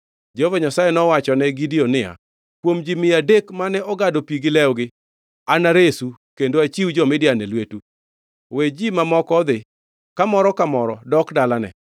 Jehova Nyasaye nowachone Gideon niya, “Kuom ji mia adek mane ogado pi gi lwetgi, anaresu kendo achiw jo-Midian e lwetu. We ji mamoko odhi, ka moro ka moro dok dalane.”